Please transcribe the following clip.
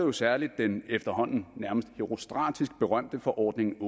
jo særlig den efterhånden nærmest herostratisk berømte forordning